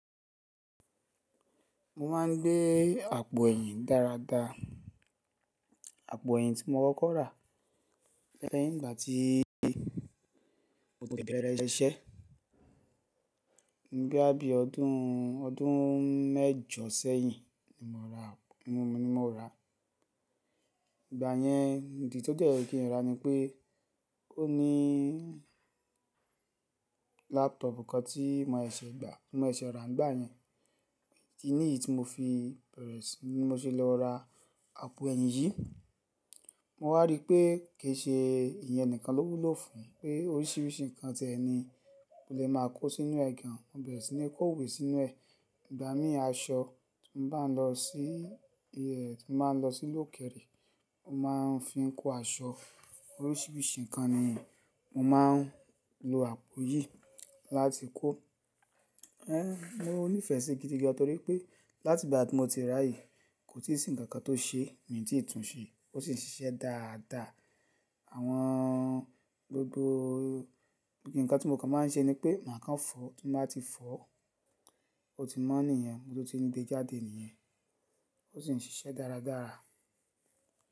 Mo máa ń gbé àpò ẹ̀yìn dáradára. Àpò ẹ̀yìn tí mo kọ rà lẹ́yìn ìgbà tí mo tó bẹ̀rẹ̀ iṣẹ́. Ní bí àbí ọdún, ọdún mẹ́jọ sẹ́yìn ni mo ra, ni mo ra. Ìgbà yẹn ìdí tó jẹ́ kí n ra ni pé ó ní laptop kan tí mo ṣẹ̀ gba, tí mo ṣẹ̀ ra nígbà yẹn. Idi ní èyí tí mo fi bẹ̀rẹ̀ sí ní mo se lọ ra àpò ẹ̀yìn yìí. Mo wá rí i pé kì í ṣe ìyẹn nìkan lówú ló fún un, pé oríṣiríṣi nǹkan tẹ ni o lè máa kó sínú ẹ̀ gan. Mo bẹ̀rẹ̀ sí ní kó òwe sínú ẹ̀. Ìgbà mí aṣọ tí mo bá n lọ sí ẹ̀, tí mo máa ń lọ sí ìlú òkèrè, mo máa ń fi kó aṣọ. Oríṣiríṣi nǹkan nì mo máa ń lo àpò yìí láti kó. Ẹ̀, mo nífẹ̀ẹ́ sí i gidi gan torí pé láti ìgbà tí mo ti rà á yìí kò tí ì sí ǹkan kan tó ṣe, mi ò tí ì tún un ṣe, ó sì ń ṣiṣẹ́ dáa dáa. Àwọn gbogbo, bí i ǹkan tí mo kàn máa ń ṣe ni pé màá kàn fọ, tí mo bá ti fọ ó ti mọ́ nìyẹn, mo tó ti ní dé jáde nìyẹn. Ó sì ń ṣiṣẹ́ dáradára.